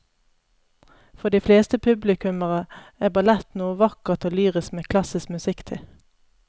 For de fleste publikummere er ballett noe vakkert og lyrisk med klassisk musikk til.